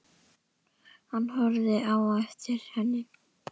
Hann horfir á eftir henni.